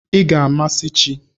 Ị ga-amasị chi!